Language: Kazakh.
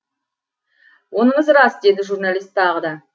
оныңыз рас деді журналист тағы да